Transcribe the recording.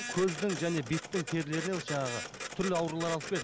көздің және беттің терілеріне осы жаңағы түрлі аурулар алып келеді